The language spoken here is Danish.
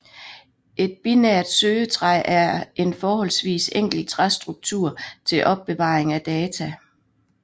Et binært søgetræ er en forholdsvis enkel træstruktur til opbevaring af data